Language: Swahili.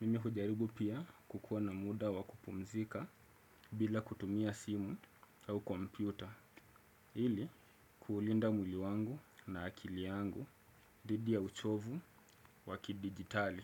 mimi hujaribu pia kukuwa na muda wa kupumzika bila kutumia simu au kompyuta ili kuulinda mwili wangu na akili yangu dhidi ya uchovu wa kidijitali.